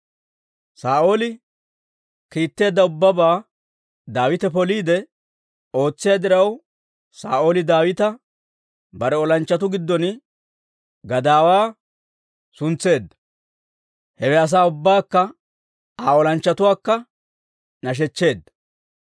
Saa'ooli kiitteedda ubbabaa Daawite poliide ootsiyaa diraw, Saa'ooli Daawita bare olanchchatuu giddon gadaawaa suntseedda; hewe asaa ubbaakka Aa olanchchatuwaakka nashechcheedda.